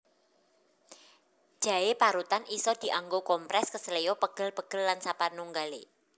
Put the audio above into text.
Jaé parutan isa dianggo komprès keseleo pegel pegel lan sapanunggalé